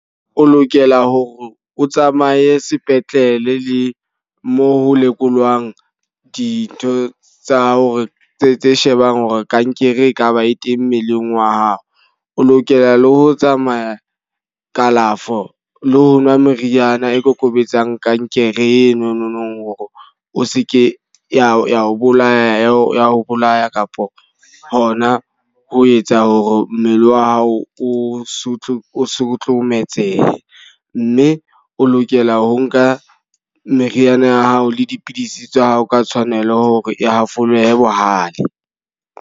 O lokela hore o tsamaye sepetlele le mo ho lekolwang dintho tsa hore tse tse shebang hore kankere e ka ba e teng mmeleng wa hao. O lokela le ho tsamaya kalafo le ho nwa meriana e kokobetsang kankere eno nong hore o se ke ya ho ya ho bolaya ho ya ho bolaya kapo hona ho etsa hore mme le wa hao o so o sotlometsehe. Mme o lokela ho nka meriana ya hao le dipidisi tsa hao ka tshwanelo hore e hafole bohale.